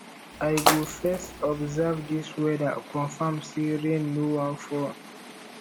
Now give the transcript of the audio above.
i go first observe dis weather confirm sey rain no wan fall